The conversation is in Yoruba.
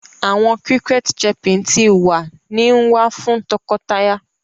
Awọn cricket chirping ti wa ni nwa fun tọkọtaya